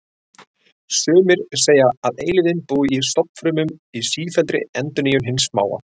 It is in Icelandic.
Sumir segja að eilífðin búi í stofnfrumum, í sífelldri endurnýjun hins smáa.